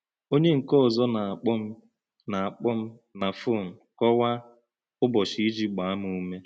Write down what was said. Ọ̀nyè̄ nkè̄ ọ̀zó̄ nà - àkpọ̀ m nà àkpọ̀ m nà fò̄ǹ kọ́wá̄ Ụ̀bọ́chí̄ íjì̄ gbàà̄ m ùmè̄.